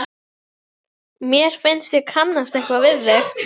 Mér finnst ég kannast eitthvað við þig?